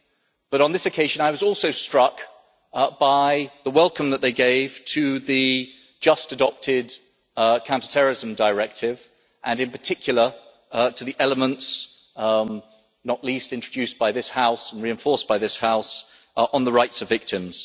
However, on this occasion I was also struck by the welcome that they gave to the just adopted Counter Terrorism Directive, and, in particular, to the elements not least those introduced by this House and reinforced by this House on the rights of victims.